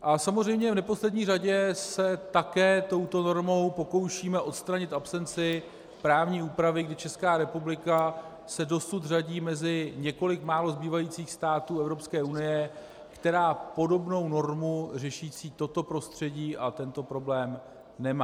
A samozřejmě v neposlední řadě se také touto normou pokoušíme odstranit absenci právní úpravy, kdy Česká republika se dosud řadí mezi několik málo zbývajících států Evropské unie, které podobnou normu řešící toto prostředí a tento problém nemají.